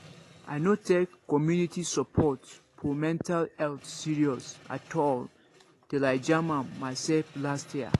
i no take community support for mental health serious at all till i jam am myself last year